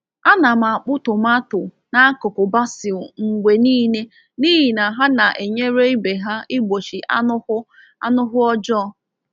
Ana m akpụ tomato n’akụkụ basil mgbe niile n’ihi na ha na-enyere ibe ha igbochi anụhụ anụhụ ọjọọ.